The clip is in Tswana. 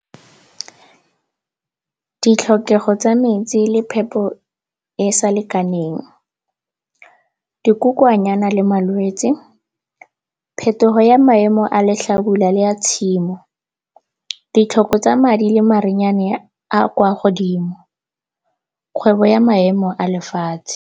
Ditlhokego tsa metsi le phepo e sa lekaneng. Dikokwanyana le malwetse, phetogo ya maemo a letlhabula le ya tshimo. Ditlhoko tsa madi le marenyane a kwa godimo, kgwebo ya maemo a lefatshe.